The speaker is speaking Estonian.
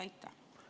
Aitäh!